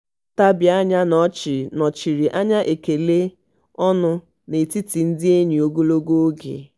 ntabi anya na ọchị nọchiri anya ekele ọnụ n'etiti ndị enyi ogologo oge.